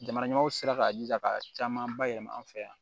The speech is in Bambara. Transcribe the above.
Jamana ɲɛmaaw sera k'a jija ka caman ba yɛlɛma an fɛ yan